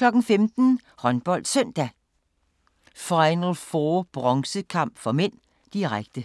15:00: HåndboldSøndag: Final 4 bronzekamp (m), direkte